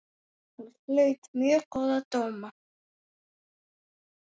Hún hlaut mjög góða dóma.